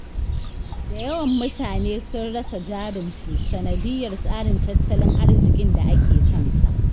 Da yawan mutane sun rasa jarinsu, sanadiyar tsarin tattalin arziƙin da ake kansa.